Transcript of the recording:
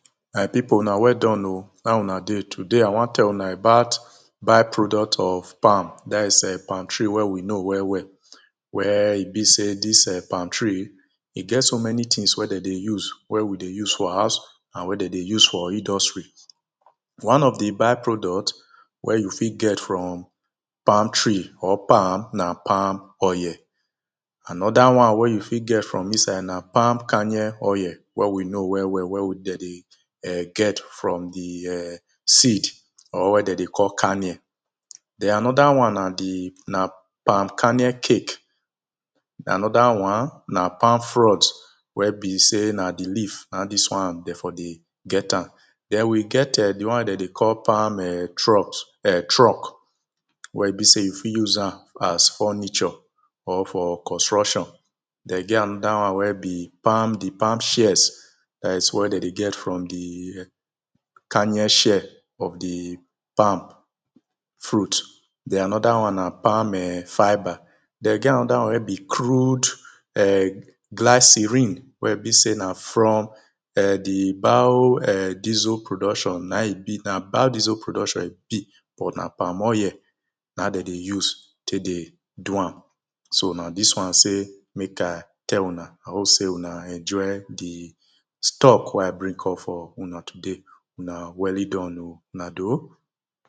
my pipo una well done o how una dey. today i wan tell una about by-product of palm that is, em palm tree wey we know well well. wey e be sey, dis err palm tree, e get so many tings wey de dey use, wey we dey use for house, and wey den dey use for industries. one of the by-product, wey you fit get from palm tree, or palm, na palm oil. another one wey you ft get from inside na palm kernel oil wey we know well well, wey de dey err get from the err seed, or wey dem dey call karnel. den another one na the na palm kernel cake. den another one na palm fronds wey be sey, na the leaf na in dis one de for dey get am. den we get err the one wey de dey call palm err trot err truck. wey be sey you fit use am as furniture, or for construction. den e get another one wey be palm, the palm shells. that is, what dem dey get from the err kernel shell, of the palm fruit. den another one na palm err fibre den e get another one wey be crude err glycerine wey be sey na from, err the bou, err diesel production na e be na, bou diesel production e be but na palm oil, na den dey use tey dey do am. so na dis one sey, mek i tell una. i hope sey una enjoy the, stock wey i bring come for una today una well done o, na doh.